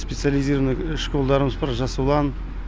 специализированный школдарымыз бар жас ұлан